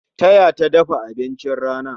Ta taya ta dafa abincin rana